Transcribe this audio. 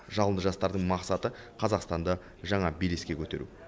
жалынды жастардың мақсаты қазақстанды жаңа белеске көтеру